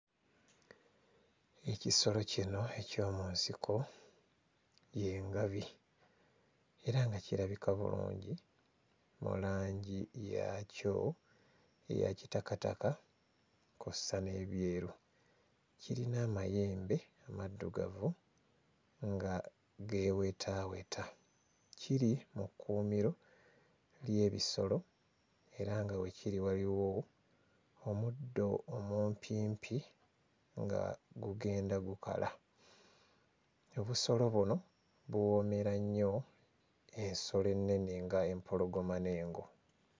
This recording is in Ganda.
Ekisolo kino eky'omu nsiko y'engabi era nga kirabika bulungi mu langi yaakyo eya kitakataka kw'ossa n'ebyeru. Kirina amayembe amaddugavu nga geewetaaweta. Kiri mu kkuumiro ly'ebisolo era nga we kiri waliwo omuddo omumpimpi nga gugenda gukala. Obusolo buno buwoomera nnyo ensolo ennene ng'empologoma n'engo.